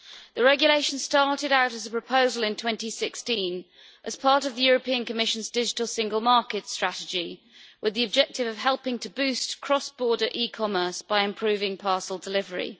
The regulation started out as a proposal in 2016 as part of the European Commission's Digital Single Market Strategy, with the objective of helping to boost cross border e-commerce by improving parcel delivery.